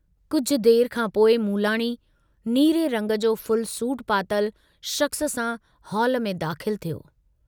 कुझ देर खां पोइ मूलाणी, नीरे रंग जो फुल सूट पातल शख़्स सां हाल में दाख़िल थियो।